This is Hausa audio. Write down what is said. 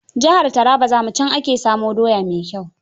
Jihar Taraba za mu, can ake samo doya mai kyau.